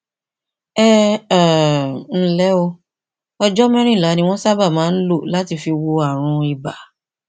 ẹ um ǹlẹ o ọjọ mẹrìnlá ni wọn sábà máa ń lò láti fi wo ààrùn ibà